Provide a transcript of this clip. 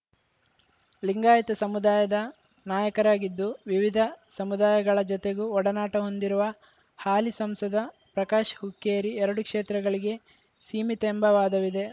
ಲಿಂಗಾಯತ ಸಮುದಾಯದ ನಾಯಕರಾಗಿದ್ದು ವಿವಿಧ ಸಮುದಾಯಗಳ ಜತೆಗೂ ಒಡನಾಟ ಹೊಂದಿರುವ ಹಾಲಿ ಸಂಸದ ಪ್ರಕಾಶ್‌ ಹುಕ್ಕೇರಿ ಎರಡು ಕ್ಷೇತ್ರಗಳಿಗೆ ಸೀಮಿತ ಎಂಬ ವಾದವಿದೆ